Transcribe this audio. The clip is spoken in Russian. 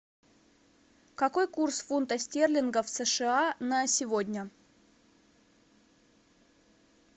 какой курс фунта стерлингов в сша на сегодня